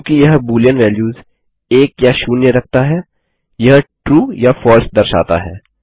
चूँकि यह Boolean values 1 या 0 रखता है यह ट्रू या फलसे दर्शाता है